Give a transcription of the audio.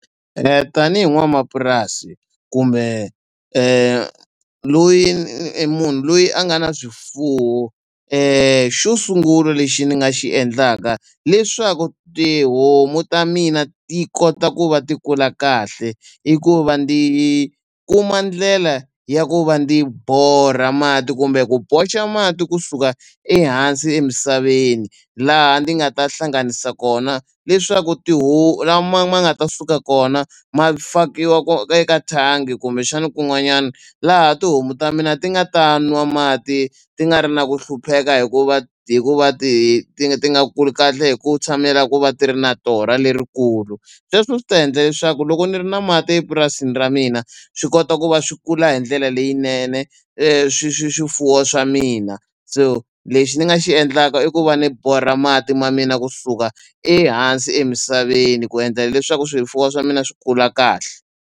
Tanihi n'wanamapurasi kumbe loyi i munhu loyi a nga na swifuwo xo sungula lexi ni nga xi endlaka leswaku tihomu ta mina ti kota ku va ti kula kahle i ku va ndzi kuma ndlela ya ku va ndzi borha mati kumbe ku boxa mati kusuka ehansi emisaveni laha ndzi nga ta hlanganisa kona leswaku ti lama ma nga ta suka kona ma fakiwa eka thangi kumbexani kun'wanyani laha tihomu ta mina ti nga ta nwa mati ti nga ri na ku hlupheka hikuva hikuva ti ti nga ti nga kuli kahle hi ku tshamela ku va ti ri na torha lerikulu sweswo swi ta endla leswaku loko ni ri na mati epurasini ra mina swi kota ku va swi kula hi ndlela leyinene swifuwo swa mina so lexi ni nga xi endlaka i ku va ni borha mati ma mina kusuka ehansi emisaveni ku endla leswaku swifuwo swa mina swi kula kahle.